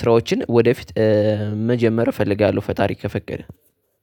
ስራዎችን ወደፊት መጀመር እፈልጋለሁ። ፈጣሪ ከፈቀደ